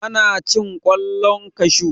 ana cin kwallon kashu